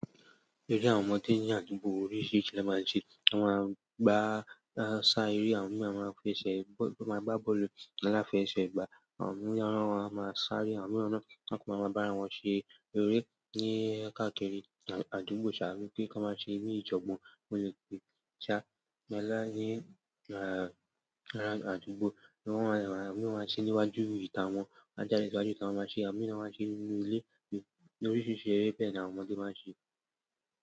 Eré àwọn ọmọdé ní àdúgbò, oríṣiríṣi ni wọ́n máa ń ṣe. Àwọn ọmọdé gbá ń sá eré, àwọn mìíràn máa ń fẹ́ ṣe bọ́ọ́lù, máa gbá bọ́ọ́lù aláfé ṣe gbà. Àwọn mìíràn won ma máa ṣaré, àwọn mìíràn na máa ń bá ara wọn ṣe eré ní káàkiri àdúgbò saa wípé kí wọ́n má ṣe ní ìjọgbo. Ó lè je pé sá bọ́ọ̀lù ní àdúgbò, àwọn mìíràn máa ń ṣe níwájú ìta wọn, won a jàde síwájú ìta wọn máa ṣe, àwọn mìíràn máa ń ṣe nínú ìle oríṣiríṣi eré bẹ́ẹ̀ ni àwọn ọmọdé máa ń ṣe.